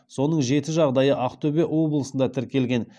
соның жеті жағдайы ақтөбе облысында тіркелген